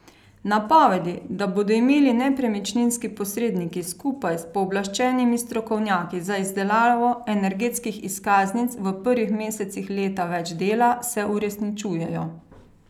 Napovedi, da bodo imeli nepremičninski posredniki skupaj s pooblaščenimi strokovnjaki za izdelavo energetskih izkaznic v prvih mesecih leta več dela, se uresničujejo.